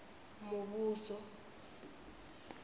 muvhuso